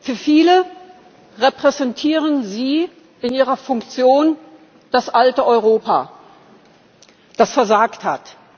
Für viele repräsentieren Sie in Ihrer Funktion das alte Europa, das versagt hat.